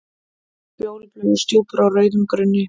Fjólubláar stjúpur á rauðum grunni.